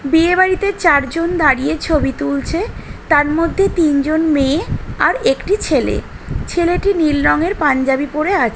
বিয়ে বাড়িতে চারজন দাঁড়িয়ে ছবি তুলছে তার মধ্যে তিনজন মেয়ে আর একটি ছেলে ছেলেটি নীল রঙের পাঞ্জাবি পরে আছে।